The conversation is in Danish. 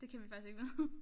Det kan vi faktisk ikke vide